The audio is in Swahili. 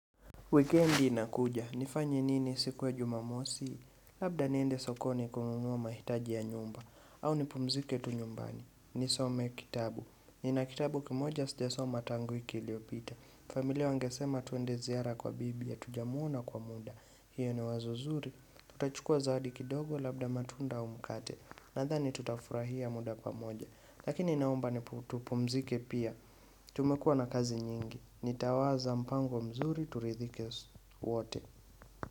Wikendi inakuja, nifanye nini siku ya jumamosi, labda niende sokoni kununua mahitaji ya nyumba, au nipumzike tu nyumbani, nisome kitabu, nina kitabu kimoja sijasoma tangu wiki iliyopita, familia wangesema tuende ziara kwa bibi, hatujamuona kwa muda, hiyo ni wazo zuri, tutachukua zawadi kidogo labda matunda au mkate, nadhani tutafurahia muda kwa moja, lakini naomba tupumzike pia, tumekua na kazi nyingi, Nitawaza mpango mzuri turidhike wote.